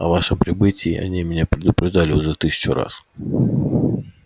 о вашем прибытии они меня предупреждали уже тысячу раз